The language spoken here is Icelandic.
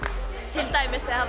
til dæmis þegar